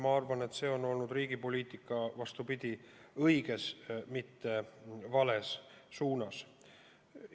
Ma arvan, et see on olnud riigi poliitika õiges, mitte vales suunas.